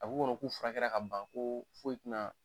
A b'u kɔnɔ k'u furakɛra ka ban koo foyi ti na